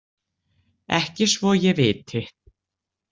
Ekki svo að ég viti.